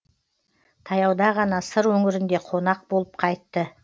таяуда ғана сыр өңірінде қонақ болып қайтты